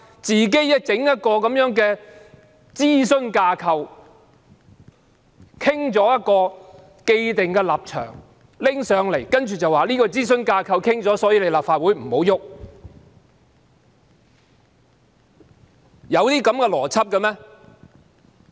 政府自行設立一個諮詢架構，討論出一個既定立場後提交立法會，接着表示諮詢架構已經作出商討，立法會不能修改。